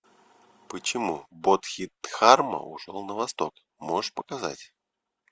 почему бодхидхарма ушел на восток можешь показать